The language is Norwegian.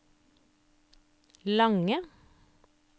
lange